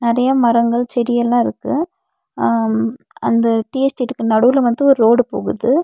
நெறைய மரங்கள் செடி எல்லா இருக்கு ஆம் அந்த டீ எஸ்டேட்டுக்கு நடுவுல வந்து ஒர் ரோடு போகுது.